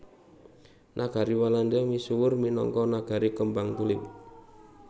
Nagari Walanda misuwur minangka nagari kembang tulip